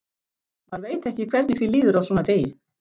Maður veit ekki hvernig því líður á svona degi.